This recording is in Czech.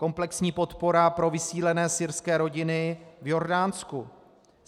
Komplexní podpora pro vysídlené syrské rodiny v Jordánsku.